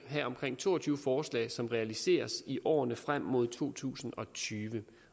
have omkring to og tyve forslag som realiseres i årene frem mod to tusind og tyve